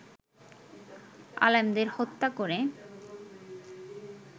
আলেমদের হত্যা করে